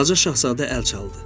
Balaca şahzadə əl çaldı.